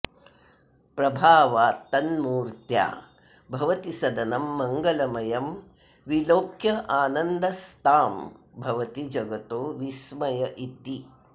प्रभावात्तन्मूर्त्या भवति सदनं मंगलमयं विलोक्यानन्दस्तां भवति जगतो विस्मय इति